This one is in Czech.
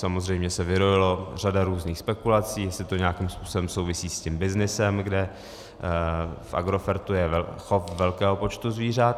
Samozřejmě se vyrojila řada různých spekulací, jestli to nějakým způsobem souvisí s tím byznysem, kde v Agrofertu je chov velkého počtu zvířat.